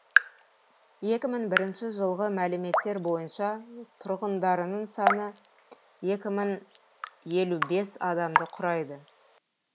екі мың бірінші жылғы мәліметтер бойынша тұрғындарының саны екі мың елу бес адамды құрайды